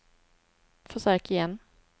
försök igen